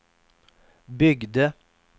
byggde